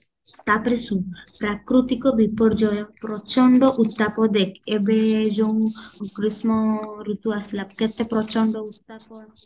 ତାପରେ ଶୁଣ ପ୍ରାକୃତିକ ବିପର୍ଯ୍ୟୟ ପ୍ରଚଣ୍ଡ ଉତ୍ତାପ ଦେଖ ଏବେ ଯୋଉ ଗ୍ରୀଷ୍ମ ଋତୁ ଆସିଲା କେତେ ପ୍ରଚଣ୍ଡ ଉତ୍ତାପ